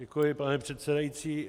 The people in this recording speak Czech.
Děkuji, pane předsedající.